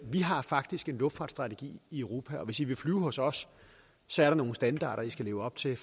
vi har faktisk en luftfartsstrategi i europa og hvis i vil flyve hos os så er der nogle standarder i skal leve op til